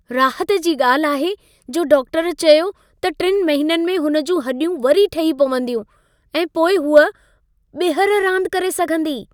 राहत जी ॻाल्हि आहे जो डाक्टर चयो त 3 महीने में हुन जूं हॾियूं वरी ठही पवंदियूं ऐं पोइ हूअ ॿिहर रांदि करे सघंदी।